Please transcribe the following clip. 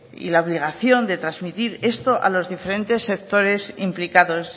y la obligación de transmitir esto a los diferentes sectores implicados